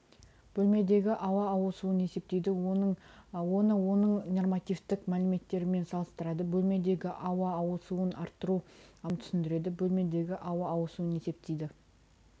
бөлмедегі ауа ауысуын есептейді оны оның нормативтік мәліметтерімен салыстырады бөлмедегі ауа ауысуын арттыру амалдарын түсіндіреді бөлмедегі ауа ауысуын есептейді